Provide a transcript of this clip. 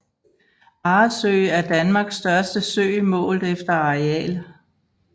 Arresø er Danmarks største sø målt efter areal